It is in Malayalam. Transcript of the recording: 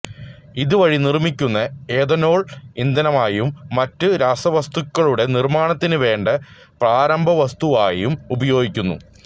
ഇത് വഴി നിർമ്മിക്കുന്ന എഥനോൾ ഇന്ധനമായും മറ്റു രാസവസ്തുക്കളുടെ നിർമ്മാണത്തിനു വേണ്ട പ്രാരംഭവസ്തുവായും ഉപയോഗിക്കുന്നു